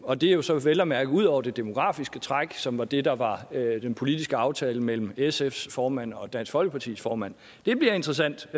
og det er jo så vel at mærke ud over det demografiske træk som var det der var den politiske aftale mellem sfs formand og dansk folkepartis formand det bliver interessant